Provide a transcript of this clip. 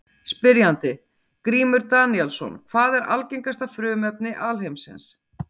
Spyrjandi: Grímur Daníelsson Hvað er algengasta frumefni alheimsins?